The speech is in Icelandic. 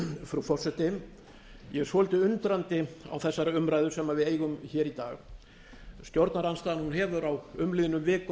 frú forseti ég er svolítið undrandi á þessari umræðu sem við eiga í dag stjórnarandstaðan hefur á umliðnum vikum